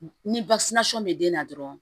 Ni bɛ den na dɔrɔn